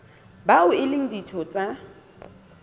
bao e leng ditho tsa